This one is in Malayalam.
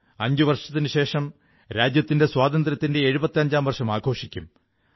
അഞ്ചു വർഷത്തിനുശേഷം രാജ്യത്തിന്റെ സ്വാതന്ത്ര്യത്തിന്റെ എഴുപത്തിയഞ്ചാം വാർഷികം ആഘോഷിക്കും